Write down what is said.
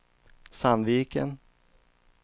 Sandviken